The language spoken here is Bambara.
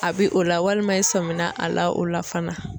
A bi o la walima i sɔminna a la o la fana.